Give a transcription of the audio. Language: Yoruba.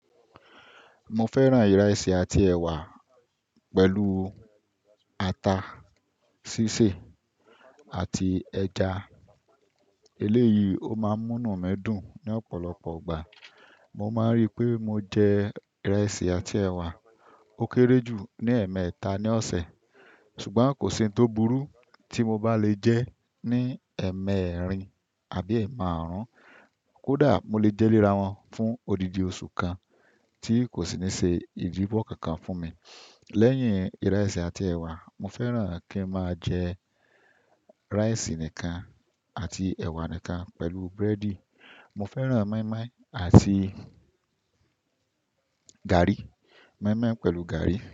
Mo fẹ́ràn ìrẹsì àti ẹ̀wà pẹ̀lú ata sí sè àti ẹja. Eléyìí ó máa ń mú inú mi dùn ní ọ̀pọ̀lọpọ̀ ọgbà. Mo máa ń rí i pé mo jẹ ìrẹsì àti ẹ̀wà ó kéré jù ní ẹ̀ẹ̀mẹta ní ọ̀sẹ̀ ṣùgbọ́n kò sí ohun tó burú tí mo bá le jẹ ní ẹ̀ẹ̀mẹ́rin àbí ẹ̀ẹ̀márùn-ún. Kódà mo le jẹ́ ìlera wọn fún odidi oṣù kan tí kò sì ní se idi wo kankan fún mi. Lẹ́yìn ìrẹsì àti ẹ̀wà, mo fẹ́ràn kí n máa jẹ ríísì nìkan àti ẹ̀wà nìkan pẹ̀lú búrẹ́dì. Mo fẹ́ràn mọ́ínmọ́ín àti gààrí, mọ́ínmọ́ín pẹ̀lú gààrí.